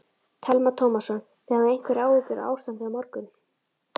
Telma Tómasson: Þið hafið einhverjar áhyggjur af ástandinu á morgun?